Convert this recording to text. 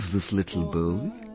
What is this little bowl